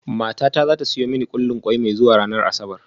Matata za ta siyo mani kullin kwai mai zuwa ranar Asabar